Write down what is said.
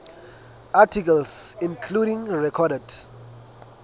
articles including recorded